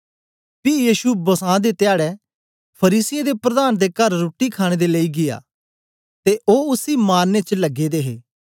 पी यीशु बसां दे धयाडै फरीसियें दे प्रधान दे कर रुट्टी खाणे दे लेई गीया ते ओ उसी मारने च लगे दे हे